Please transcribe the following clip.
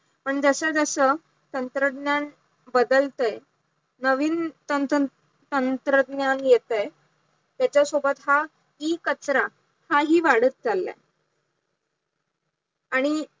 पण जस जस तंत्रज्ञान बदलतंय नवीन तंत्रज्ञान येतंय त्याच्या सोबत हा E कचरा हा हि वाढत चाललंय, आणि